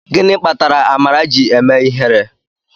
Gịnị kpatara amara ji eme ihere?